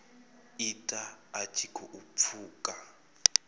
ita a tshi khou pfuka